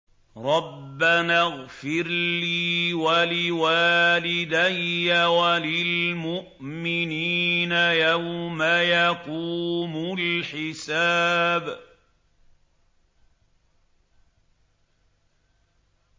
رَبَّنَا اغْفِرْ لِي وَلِوَالِدَيَّ وَلِلْمُؤْمِنِينَ يَوْمَ يَقُومُ الْحِسَابُ